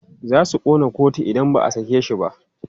Za su ƙona kotu idan ba a sake shi ba.